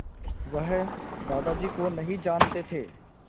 वह दादाजी को नहीं जानते थे